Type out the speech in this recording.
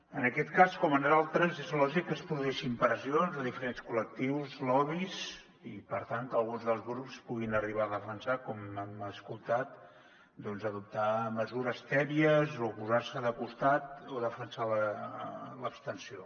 en aquest cas com en d’altres és lògic que es produeixin pressions de diferents col·lectius lobbys i per tant que alguns dels grups puguin arribar a defensar com hem escoltat doncs adoptar mesures tèbies o posar se de costat o defensar l’abstenció